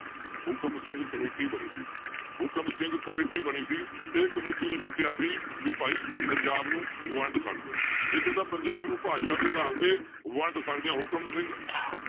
ਹੁਕਮ ਸਿੰਘ ਕਮੇਟੀ ਬਣੀ ਸੀ ਇੱਕ ਹੁਕਮ ਸਿੰਘ ਕਮੇਟੀ ਬਣੀ ਸੀ ਇਹ ਕਮੇਟੀ ਨੇ ਕੀ ਕਿਹਾ ਸੀ ਵੀ ਭਾਈ ਪੰਜਾਬ ਨੂੰ ਵੰਡ ਸਕਦੇ ਹਾਂ, ਇਹ ਕਹਿੰਦਾ ਪੰਜਾਬ ਨੂੰ ਭਾਸ਼ਾ ਦੇ ਆਧਾਰ ਤੇ ਵੰਡ ਸਕਦੇ ਹਾਂ ਹੁਕਮ ਸਿੰਘ